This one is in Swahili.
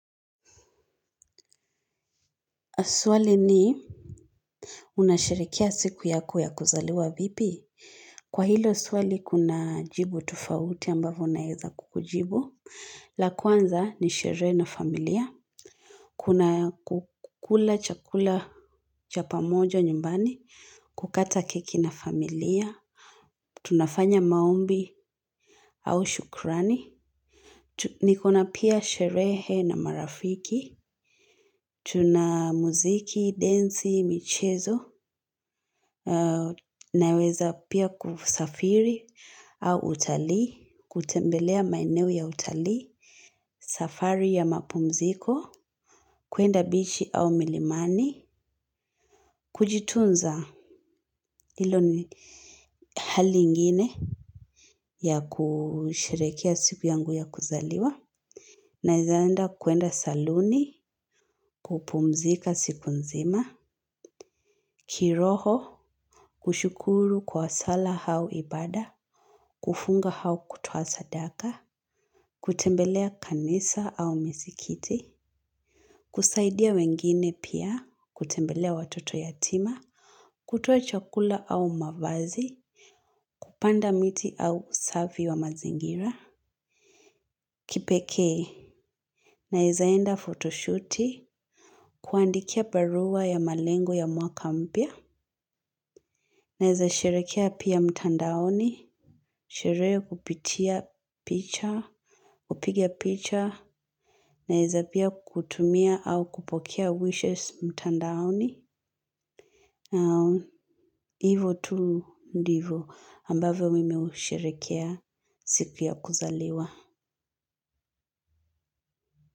Swali ni unasherekea siku yako ya kuzaliwa vipi? Kwa hilo swali kuna jibu tofauti ambavo naeza kukujibu. La kwanza ni sherehe na familia. Kuna kukula chakula cha pamoja nyumbani. Kukata keki na familia. Tunafanya maombi au shukurani. Niko na pia sherehe na marafiki. Tuna muziki, densi, michezo. Naweza pia kusafiri au utali. Kutembelea maeneo ya utalii. Safari ya mapumziko. Kuenda bichi au milimani. Kujitunza ilo ni hali ingine ya kusherekea siku yangu ya kuzaliwa. Naeza enda kuenda saluni. Kupumzika siku nzima. Kiroho kushukuru kwa sala hau ibada. Kufunga hau kutoa sadaka. Kutembelea kanisa au misikiti. Kusaidia wengine pia. Kutembelea watoto yatima. Kutoa chakula au mavazi. Kupanda miti au usafi wa mazingira. Kipekee naeza enda photoshooti. Kuandikia barua ya malengo ya mwaka mpya. Naeza sherekea pia mtandaoni. Sherehe kupitia picha. Kupiga picha. Naeza pia kutumia au kupokea wishes mtandaoni. Hivo tu ndivo ambavyo mimi husherekea siku ya kuzaliwa.